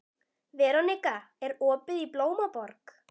Veronika, er opið í Blómaborg?